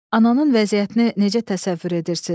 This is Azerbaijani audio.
Ananın vəziyyətini necə təsəvvür edirsiniz?